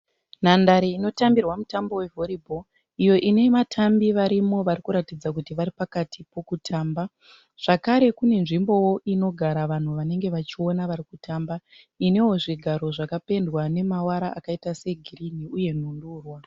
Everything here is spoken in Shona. Nhandare inotambirwa mutambo wevhori bhoro iyo ine vatambi varimo vari kuratidza kuti vari pakati pokutamba. Zvakare kune nzvimbowo inogara vanhu vanenge vachiona vari kutamba inewo zvigaro zvakapendwa nemavara akaita segirini uye nhundurwa.